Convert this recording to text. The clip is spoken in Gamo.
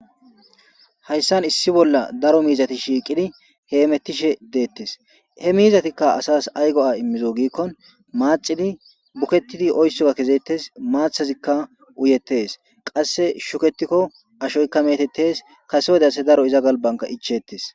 hayssan issi bolla daro miizati shiiqidi heemetishe deettes he miizatikka asas ay go7a immizo giikkon maacidi buketidi oyssoga kezettes maathazikka uyettes qasse shuketikko ashoykka metettes kasewdase daro iza galbanka ichetes